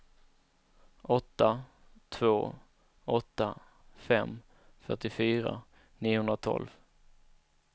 åtta två åtta fem fyrtiofyra niohundratolv